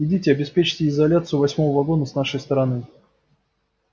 идите обеспечьте изоляцию восьмого вагона с нашей стороны